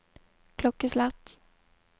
klokkeslett